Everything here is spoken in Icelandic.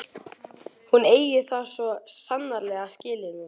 Hún eigi það svo sannarlega skilið núna.